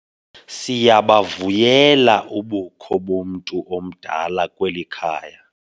Siyabavuyela ubukho bomntu omdala kweli khaya.